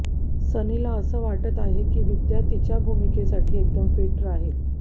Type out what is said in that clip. सनीला असं वाटत आहे की विद्या तिच्या भूमिकेसाठी एकदम फिट राहील